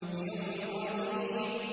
لِيَوْمٍ عَظِيمٍ